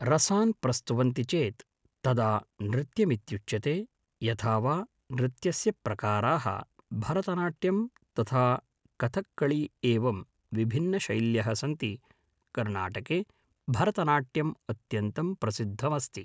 रसान् प्रस्तुवन्ति चेत् तदा नृत्यमित्युच्यते यथा वा नृत्यस्य प्रकाराः भरतनाट्यं तथा कथक्कळि एवं विभिन्नशैल्यः सन्ति कर्णाटके भरतनाट्यम् अत्यन्तं प्रसिद्धमस्ति